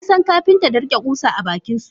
Ansan Kapinta da rike kusa a bakinsu.